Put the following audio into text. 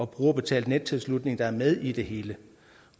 brugerbetalt nettilslutning der er med i det hele